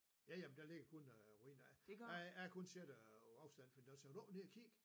Ja ja men der ligger kun øh ruiner der jeg har kun set det på afstand for de siger vil du ikke ned og kigge